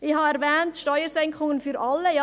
Ich habe «Steuersenkungen für alle» erwähnt.